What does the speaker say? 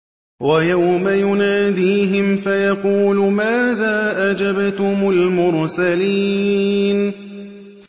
وَيَوْمَ يُنَادِيهِمْ فَيَقُولُ مَاذَا أَجَبْتُمُ الْمُرْسَلِينَ